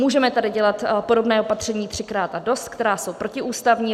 Můžeme tady dělat podobná opatření "třikrát a dost", která jsou protiústavní.